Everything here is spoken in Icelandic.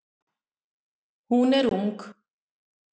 Hún er ung.